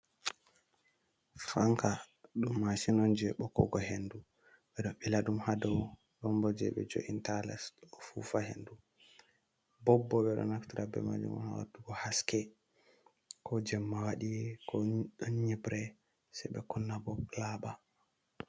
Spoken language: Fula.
Fanka ɗum mashin on je bokkugo hendu ɓeɗo bila ɗum ha dow ɗonbo je ɓe jo’inta ha les ɗo fufa hendu, bobbo ɓeɗo naftira be majum ha watugo haske ko jemma tow waɗi ko ɗan nyibre ɓe kunna bo laba.